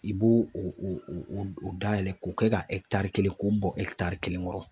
I b'o o dayɛlɛ k'o kɛ ka kelen k'o bɔ kelen kɔrɔ.